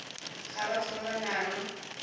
ga batho ba ba nang